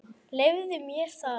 Leyfðu mér það